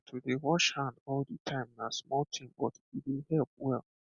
ah to dey wash hand all the time na small thing but e dey help well